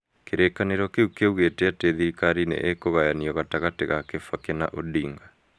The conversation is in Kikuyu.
Kirĩkanĩro kĩu kĩa ugĩĩte ati atĩ thirikari nĩ ĩgũgayanio gatagatĩ ka Kibaki na Odinga.